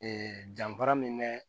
Ee danfara min bɛ